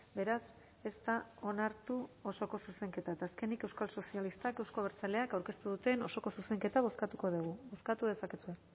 beraz ez da onartu osoko zuzenketa eta azkenik euskal sozialistak euzko abertzaleak aurkeztu duten osoko zuzenketa bozkatuko dugu bozkatu dezakezue